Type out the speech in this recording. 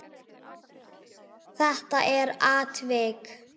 Þetta er atvik.